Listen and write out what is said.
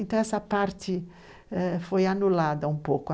Então, essa parte foi anulada um pouco.